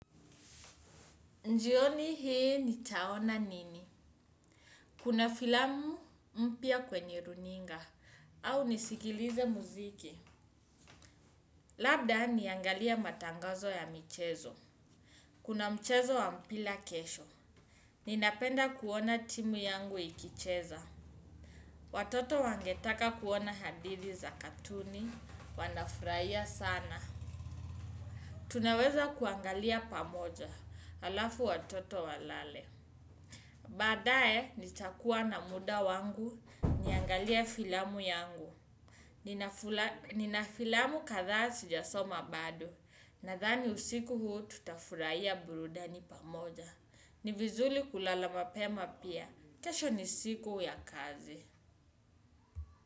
Jioni hii nitaona nini? Kuna filamu mpya kwenye runinga au nisikilize muziki. Labda niangalie matangazo ya michezo. Kuna mchezo wa mpira kesho. Ninapenda kuona timu yangu ikicheza. Watoto wangetaka kuona hadithi za katuni. Wanafurahia sana. Tunaweza kuangalia pamoja. Alafu watoto walale. Baadaye nitakuwa na muda wangu niangalie filamu yangu. Nina filamu kadhaaa sijasoma bado. Nadhani usiku huu tutafurahia burudani pamoja. Ni vizuri kulala mapema pia. Kesho ni siku ya kazi.